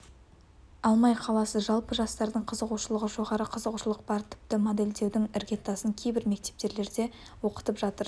алмай қаласыз жалпы жастардың қызығушылығы жоғары қызығушылық бар тіпті модельдеудің іргетасын кейбір мектептерде оқытып жатыр